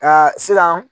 Nka sisan